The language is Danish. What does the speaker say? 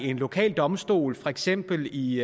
en lokal domstol for eksempel i